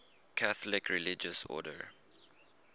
catholic religious order